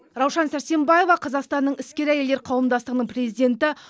раушан сәрсенбаева қазақстанның іскер әйелдер қауымдастығының президенті